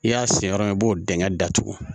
I y'a siyɛn yɔrɔ min i b'o dingɛ datugu